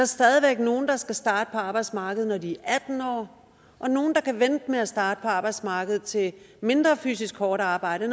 stadig væk nogle der skal starte på arbejdsmarkedet når de er atten år og nogle der kan vente med at starte på arbejdsmarkedet til et mindre fysisk hårdt arbejde